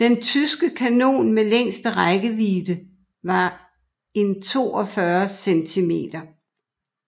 Den tyske kanon med længste rækkevidde var en 42 cm